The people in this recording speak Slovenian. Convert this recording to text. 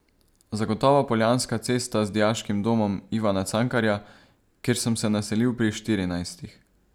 Zagotovo Poljanska cesta z dijaškim domom Ivana Cankarja, kjer sem se naselil pri štirinajstih.